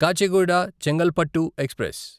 Kacheguda Chengalpattu express